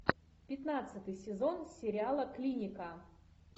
пятнадцатый сезон сериала клиника